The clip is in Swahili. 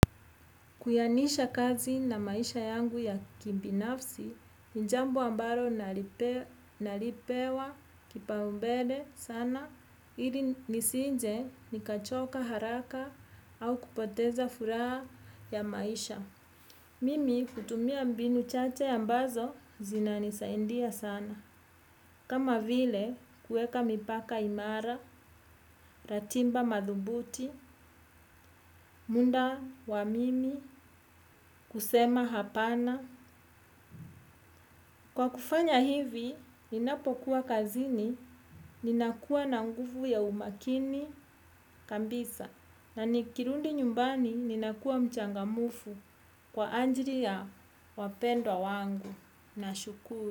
Kuyanisha kazi na maisha yangu ya kibinafsi, ni jambo ambalo nalipewa kipao mbele sana, ili nisinje nikachoka haraka au kupoteza furaha ya maisha. Mimi hutumia mbinu chache ambazo zina nisaindia sana. Kama vile kueka mipaka imara, ratimba madhubuti, muda wamimi, kusema hapana. Kwa kufanya hivi, ninapokuwa kazini, ninakuwana nguvu ya umakini, kabisa. Na nikirundi nyumbani, ninakuwa mchangamufu kwa ajili ya wapendwa wangu. Na shukuru.